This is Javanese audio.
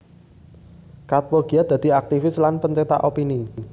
Katppo giat dadi aktivis lan pencetak opini